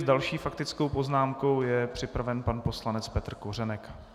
S další faktickou poznámkou je připraven pan poslanec Petr Kořenek.